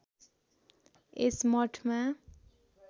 यस मठमा